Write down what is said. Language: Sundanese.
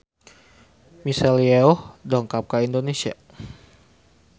Michelle Yeoh dongkap ka Indonesia